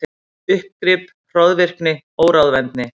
Uppgrip, hroðvirkni, óráðvendni.